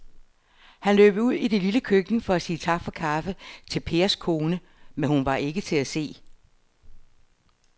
Han løb ud i det lille køkken for at sige tak for kaffe til Pers kone, men hun var ikke til at se.